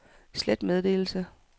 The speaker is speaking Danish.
slet meddelelse